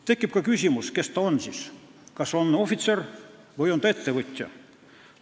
Tekib ka küsimus, kes ta siis on, kas ta on ohvitser või on ta ettevõtja.